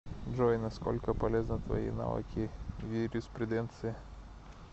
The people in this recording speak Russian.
джой на сколько полезны твои навыки в юриспруденции